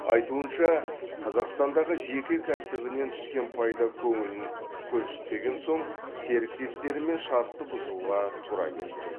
айтуынша қазақстандағы жеке кәсібінен түскен пайда көңілін көншітпеген соң серіктестерімен шартты бұзуға тура келген